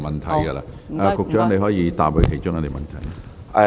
局長，你可以回答其中一項。